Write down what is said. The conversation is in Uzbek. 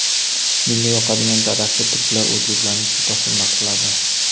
Menga yoqadigan tarafi, turklar o‘zbeklarni juda hurmat qiladi.